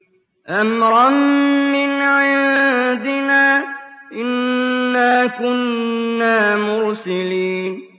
أَمْرًا مِّنْ عِندِنَا ۚ إِنَّا كُنَّا مُرْسِلِينَ